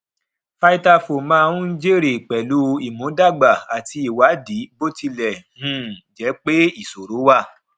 vitafoam máa ń jẹ èrè pẹlú ìmúdàgba àti ìwádìí bó tilẹ um jẹ pé ìṣòro wà